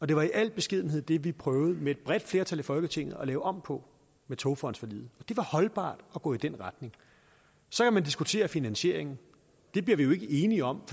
det var i al beskedenhed de vi prøvede med et bredt flertal i folketinget at lave om på med togfondsforliget det var holdbart at gå i den retning så kan man diskutere finansieringen den bliver vi jo ikke enige om